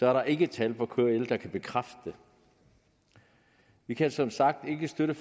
er der ikke tal fra kl der kan bekræfte det vi kan som sagt ikke støtte